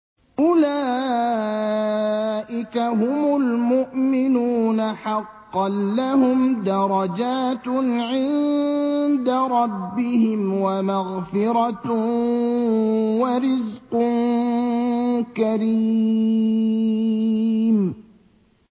أُولَٰئِكَ هُمُ الْمُؤْمِنُونَ حَقًّا ۚ لَّهُمْ دَرَجَاتٌ عِندَ رَبِّهِمْ وَمَغْفِرَةٌ وَرِزْقٌ كَرِيمٌ